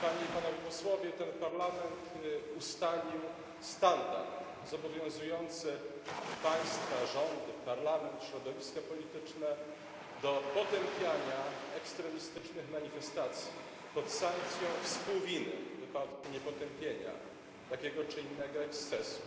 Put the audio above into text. Ten Parlament ustalił standard zobowiązujący państwa, rządy, parlament, środowiska polityczne do potępiania ekstremistycznych manifestacji pod sankcją współwiny w wypadku niepotępienia takiego czy innego ekscesu.